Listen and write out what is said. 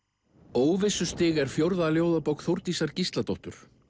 óvissustig er fjórða ljóðabók Þórdísar Gísladóttur